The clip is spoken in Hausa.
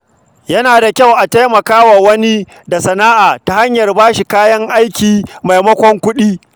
Yana da kyau a taimaka wa wani da sana’a ta hanyar ba shi kayan aiki maimakon kuɗi.